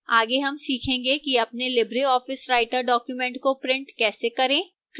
आगे हम सीखेंगे कि अपने लिबर ऑफिस writer document को print कैसे करें